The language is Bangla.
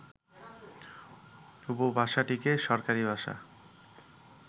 উপভাষাটিকে সরকারী ভাষা